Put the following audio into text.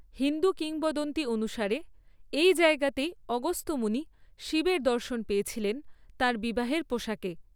হিন্দু কিংবদন্তি অনুসারে, এই জায়গাতেই অগস্ত্য মুনি শিবের দর্শন পেয়েছিলেন তাঁর বিবাহের পোশাকে।